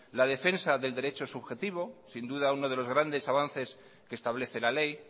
la defensa del derecho subjetivo sin duda uno de los grandes avances que establece la ley